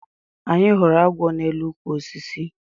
Anyị hụrụ agwọ na elu ukwu osisi